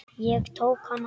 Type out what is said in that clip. Ég tók hana.